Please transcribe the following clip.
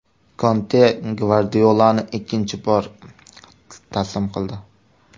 Konte Gvardiolani ikkinchi bor taslim qildi.